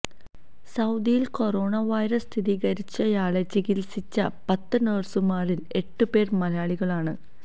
സൌദിയിൽ corona virus സ്ഥിരീകരിച്ചയാളെ ചികിൽസിച്ച പത്ത് നഴ്സുമാരിൽ എട്ട് പേർ മലയാളികളാണ്